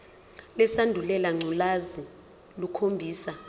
lesandulela ngculazi lukhombisa